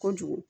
Kojugu